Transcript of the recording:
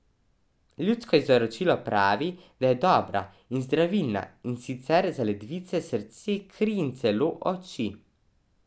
Ljudsko izročilo pravi, da je dobra in zdravilna, in sicer za ledvice, srce, kri in celo oči.